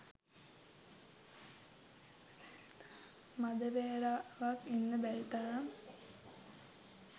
මඳ වේලාවක් ඉන්න බැරි තරම්